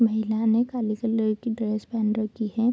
महिला ने काले कलर की ड्रेस पहन रखी है।